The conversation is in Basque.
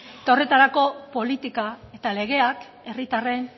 eta horretarako politika eta legeak herritarren